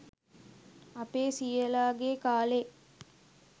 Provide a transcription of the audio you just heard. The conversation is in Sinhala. අපේ සීයලා ගේ කාලේ